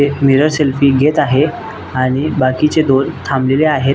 एक mirror selfie घेत आहे आणि बाकीचे दोन थांबले आहेत.